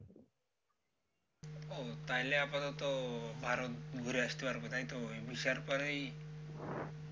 ও তাইলে আপাতত ভারত ঘুরে আসতে পারবো তাই তো? এই visa র পরেই